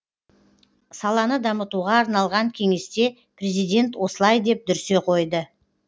саланы дамытуға арналған кеңесте президент осылай деп дүрсе қойды